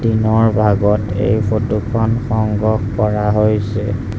দিনৰ ভাগত এই ফটো খন সংগ্ৰহ কৰা হৈছে।